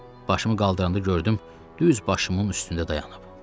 Başımı qaldıranda gördüm düz başımın üstündə dayanıb.